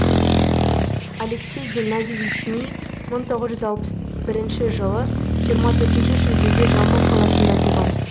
алексей геннадьевич ни мың тоғыз жүз алпыс бірінші жылы жиырма төртінші шілдеде жамбыл қаласында туған